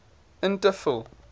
in te vul